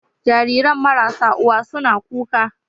Jariran marasa uwa suna kuka